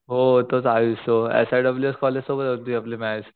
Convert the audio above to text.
हो तोच आयुष तो S I W S college सोबत होती आपली मॅच